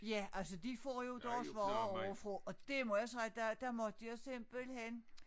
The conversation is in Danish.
Ja altså de får jo deres varer ovre fra og det må jeg sige der der måtte jeg simpelthen